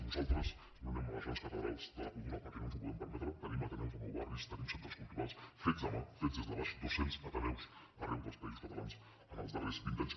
nosaltres no anem a les grans catedrals de la cultura perquè no ens ho podem permetre tenim ateneus a nou barris tenim centres culturals fets a mà fets des de baix dos cents ateneus arreu dels països catalans en els darrers vint anys